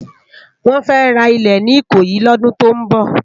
Wòn fè rá ilé ni Ikoyi lòdún tó n bò